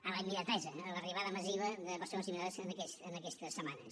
a la immediatesa a l’arribada massiva de persones immigrades en aquestes setmanes